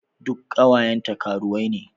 Duk ƙawayenta karuwai ne.